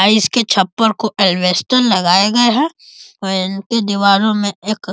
अ इसके छप्पर को एलवेस्टर लगाए गए हैं | इनके दिवारो में एक --